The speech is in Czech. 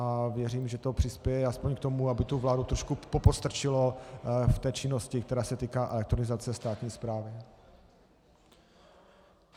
A věřím, že to přispěje aspoň k tomu, aby tu vládu trošku popostrčilo v té činnosti, která se týká elektronizace státní správy.